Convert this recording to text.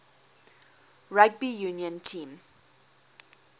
rugby union team